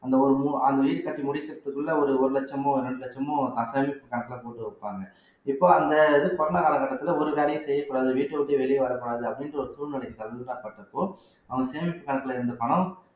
அந்த ஒரு மூணு அந்த வீடு கட்டி முடிக்கிறதுக்குள்ள ஒரு ஒரு லட்சமோ ரெண்டு லட்சமோ கணக்குல போட்டு வைப்பாங்க இப்ப அந்த இது corona கால கட்டத்துல ஒரு வேலையும் செய்யக் கூடாது வீட்டை விட்டு வெளிய வரக் கூடாது அப்படின்ற ஒரு சூழ்நிலைக்கு தகுந்த பட்டப்போ அவங்க சேமிப்பு கணக்குல இருந்த பணம்